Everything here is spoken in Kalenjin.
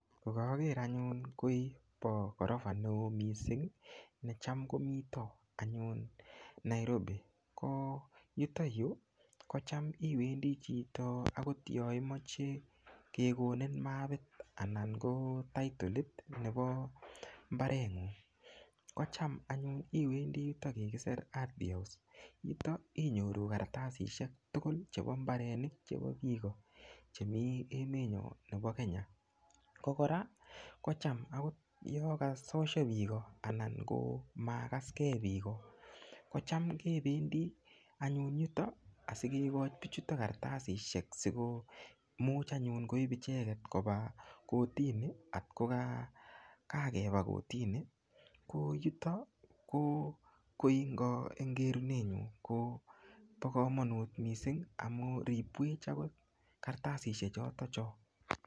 Kokaker anyun koi po korofa neo mising necham komito anyun Nairobi ko yutoyu ko cham iwendi chito yonimoche kekonin mapit anan ko taitolot nepo mbareng'ung' kocham anyun iwendi yutoyu kikise ardhi house yuto inyoru karatasishek tugul chepo mbarenik chebo piko chemi emetnyo nebo Kenya ko kora kocham yekasosho piko anan ko makaskei piko kocham anyun kependi anyun yuto asikekoch pichuto karatasishek siko much koip icheket kopa kotini ngokikakepa kotini koyuto ko koi ing kerunenyu kopo komonut mising amun ripwech akot karatasishek choto cho.